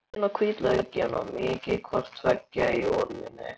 Saxið laukinn og hvítlaukinn og mýkið hvort tveggja í olíunni.